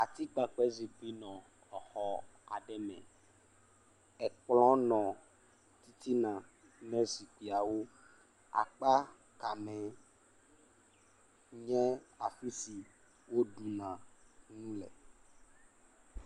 Atikpakpɛ zikpui le exɔ aɖe me, ekplɔ nɔ titina ne zikpuiawo. Akpa kamɛ nye afi si woɖuna nu le.